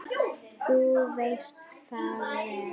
Þú veist það vel.